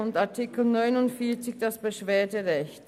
In Artikel 49 geht es schliesslich um das Beschwerderecht.